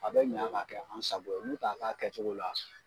A bɛ ɲa ka kɛ an sago ye n'u ka kɛ a kɛcogo la.